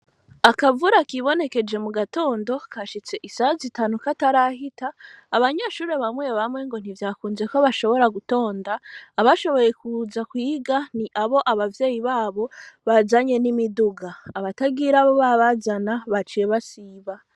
Akavura, kibonekeje mu gatando, kashitse isaha zitanu, katarahita; abanyeshure bamwe bamwe, ngo ntivyakunze ko, bashobora gutonda; abashoboye kuza kwiga, ni abo, abavyeyi babo, bazanye n'imiduga; abatagira ababazana, baciye basiba.